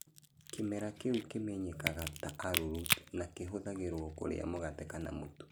Kĩmera kĩu kĩmenyekaga ta arrowroot, na kĩhũthagĩrũo kũrĩa mũgate kana mũtu.